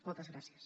moltes gràcies